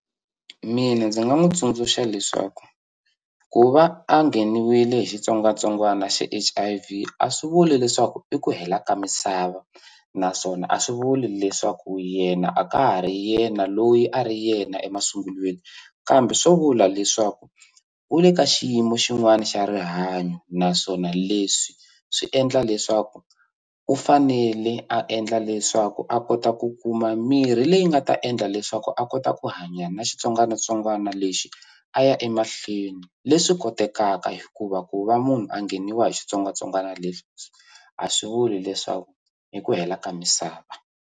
Mina ndzi nga n'wu tsundzuxa leswaku ku va a nghenile hi xitsongwatsongwana xa H_I_V a swi vuli leswaku i ku hela ka misava naswona a swi vuli leswaku yena a ka ha ri yena loyi a ri yena emasungulweni kambe swo vula leswaku u le ka xiyimo xin'wani xa rihanyo naswona leswi swi endla leswaku u fanele a endla leswaku a kota ku kuma mirhi leyi nga ta endla leswaku a kota ku a hanya na xitsongwanatsongwana lexi a ya emahlweni leswi kotekaka hikuva ku va munhu a ngheniwa hi xitsongwatsongwana lexi a swi vuli leswaku i ku hela ka misava.